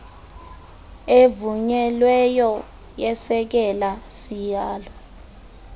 evunyelweyo yesekela sihalo